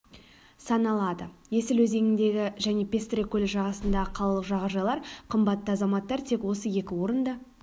саналады есіл өзеніңдегі және пестрый көлі жағасындағы қалалық жағажайлар қымбатты азаматтар тек осы екі орында